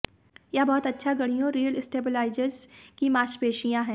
यह बहुत अच्छा गाड़ियों रीढ़ स्टेबलाइजर्स की मांसपेशियों है